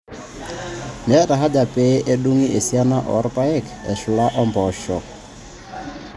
Meeta haja pee edung'i esiana oo irpaek eshula ompoosho aa MD ashuu aa MS keishaa neuni eba neija nkalifuni artam oong'wan.